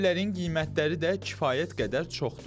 Bu evlərin qiymətləri də kifayət qədər çoxdur.